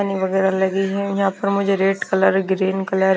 वगैरह लगी है यहां पर मुझे रेड कलर ग्रीन कलर --